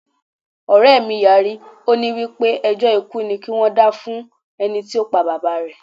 Ọ̀rẹ́ mí yarí, ó ní wípé ẹjọ́ ikú ni kí wón dá fún ẹnití ó pa Bàbá rẹ̀.